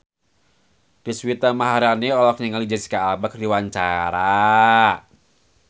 Deswita Maharani olohok ningali Jesicca Alba keur diwawancara